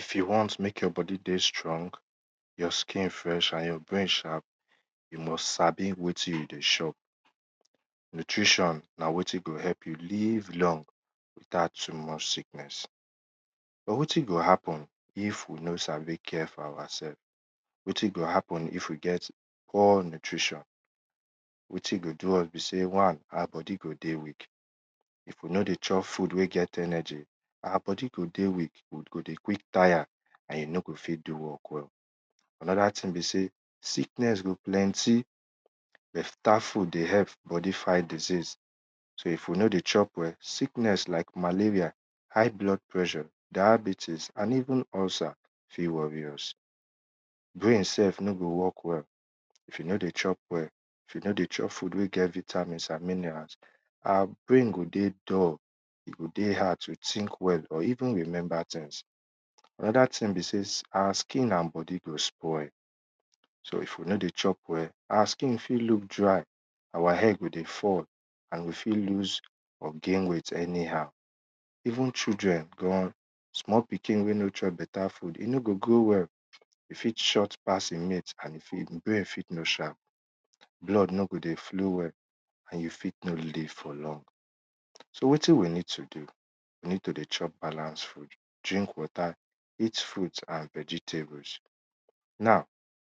If you want mekk your bodi dey fresh your skill sot and your brain sharp, you must sabi wetin you dey chop, nutrition na wetin go help you live long without too much sickness. But wetin go hapopen if we no sabi care for oursef, wetin go happen if we get poor nutrition wetin go do us besey wan our bodi go dey weak if we nor dey chop food wey get energy, our bodi go dey weak we go dey quick tire and we mno go fit do work well. Anoda thing be sey sickness go plenty, beta food dey help bodi fight diseas but if we no dey chop well, sickness like malaria, high blood pressure, diabetics and even ulcer fit worry us. No go work well if you no dey chop well, if you no dey chop food wey get vitmins and mineral our brain go dey dull e go dey hard to think well or even remember things. Anoda thing be sey our skin and bodi go spoil so ifwe no dey chop wll our skin fit look dry, our head go dey fall, and we fit loose or gain weight any how. Even children small pkin wey no chop beta food e no go grow well, e fit short pass e mate and e fit e brain fit no sharpo, blood no go dey floow well and e fit no dey for long. So wetin we need to do, we need to dey chop balance food, drink water, eat fruit and vegetable. Now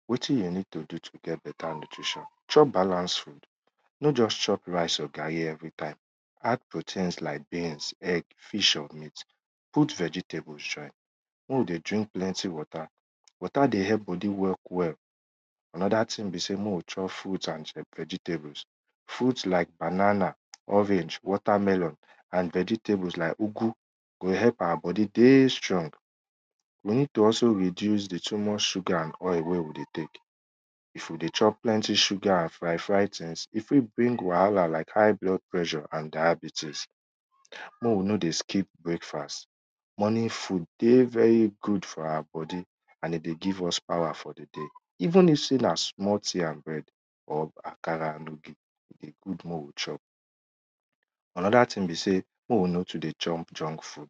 wetin we need to do to get beta nutrition chop balance food nor just chop garri or rice evrytime add proteins like beans egg fish or meat, putb vegetable join and dey driknk plenty water, e dey help bodi work well. Anoda thing na mek we dey drink plenty water watr dey help bodi work well. Anoda thimg be sey mek we chop fruit and vegetable, fruit like banana, water melon vegetable e dey help our bodi dey strong, we ne e d to also reduce di sugar and oil wey we dey tek, if we ey chop plenty sugar and fry fry things, e fit bring wahala like hight blood pressure and diabetics. Mek we no dey skip breakfast, morning food dey very good for our bodi and e dey give us power for di day even if na small thing akara andogi, e good mek we chop. anoda thing be sey mek we no too dey chop junk food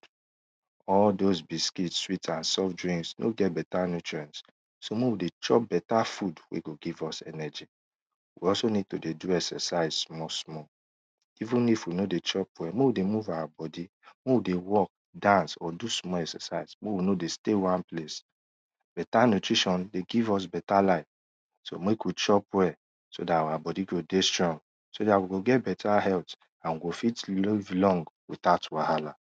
all those biscuit and soft drinks e no get beta nutrient so mek we dey chop beta food mek e give us energy even if we no dey chopp well, mek we dey move our bodi mek we no dey stay wan place beta nutrition dey fgive us beta life so mek we chop well so dt our bomdi go dey strong so dat we go get beta health and we go fit live long without wahala.